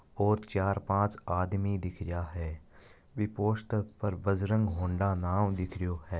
और चार पांच आदमनी दिख रिया है बी पोस्टर पर बजरंग हौंडा नाम दिख रहियो है।